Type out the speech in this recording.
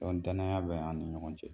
Dɔn danaya bɛ an ni ɲɔgɔn cɛ.